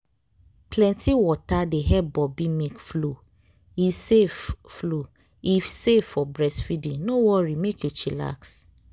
plenti water dey help boobi milk flow e safe flow e safe for breastfeeding no worry mek you chillax